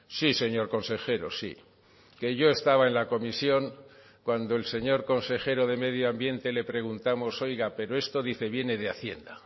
sí señor consejero sí que yo estaba en la comisión cuando el señor consejero de medio ambiente le preguntamos oiga pero esto dice viene de hacienda